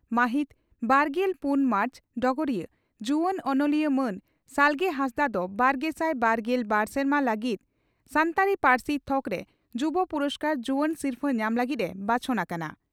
ᱢᱟᱹᱦᱤᱛ ᱵᱟᱨᱜᱮᱞ ᱯᱩᱱ ᱢᱟᱨᱪ (ᱰᱚᱜᱚᱨᱤᱭᱟᱹ) ᱺ ᱡᱩᱣᱟᱹᱱ ᱚᱱᱚᱞᱤᱭᱟᱹ ᱢᱟᱹᱱ ᱥᱟᱞᱜᱮ ᱦᱟᱸᱥᱫᱟᱜ ᱫᱚ ᱵᱟᱨᱜᱮᱥᱟᱭ ᱵᱟᱨᱜᱮᱞ ᱵᱟᱨ ᱥᱮᱨᱢᱟ ᱞᱟᱹᱜᱤᱫ ᱥᱟᱱᱛᱟᱲᱤ ᱯᱟᱹᱨᱥᱤ ᱛᱷᱚᱠᱨᱮ ᱡᱩᱵᱚ ᱯᱩᱨᱚᱥᱠᱟᱨ (ᱡᱩᱣᱟᱹᱱ ᱥᱤᱨᱯᱷᱟᱹ) ᱧᱟᱢ ᱞᱟᱹᱜᱤᱫ ᱮ ᱵᱟᱪᱷᱚᱱ ᱟᱠᱟᱱᱟ ᱾